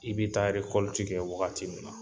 I be taa kɛ wagati min na